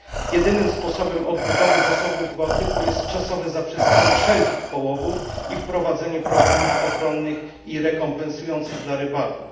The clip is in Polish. Jedynym sposobem odbudowy zasobów Bałtyku jest czasowe zaprzestanie wszelkich połowów i wprowadzenie programów ochronnych i rekompensujących dla rybaków.